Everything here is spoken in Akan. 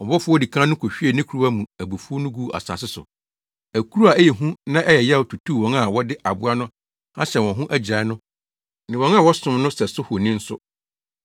Ɔbɔfo a odi kan no kohwiee ne kuruwa mu abufuw no guu asase so. Akuru a ɛyɛ hu na ɛyɛ yaw tutuu wɔn a wɔde aboa no ahyɛ wɔn ho agyirae no ne wɔn a wɔsom ne sɛso honi no nso.